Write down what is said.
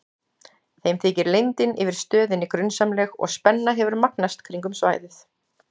Þeim þykir leyndin yfir stöðinni grunsamleg og spenna hefur magnast kringum svæðið.